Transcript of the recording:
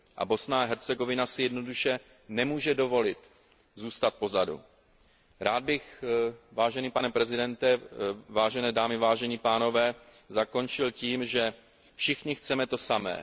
A Bosna a Hercegovina si jednoduše nemůže dovolit zůstat pozadu. Rád bych, vážený pane předsedo, vážené dámy, vážení pánové, zakončil tím, že všichni chceme to samé.